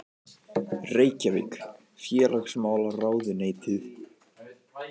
Reykjavík: Félagsmálaráðuneytið.